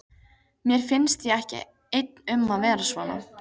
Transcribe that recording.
Mér finnst ég ekki einn um að vera svona